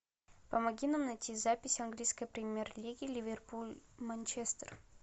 помоги нам найти запись английской премьер лиги ливерпуль манчестер